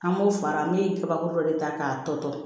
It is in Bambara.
An b'o fara ne ye kabakuru de ta k'a tɔ to